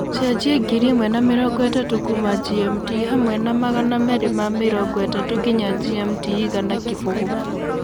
cenjĩa ngiri ĩmwe na mĩrongo itatu kũma g.m.t hamwe na magana merĩ ma mĩrongo itatu nginya g.m.t igana kibugu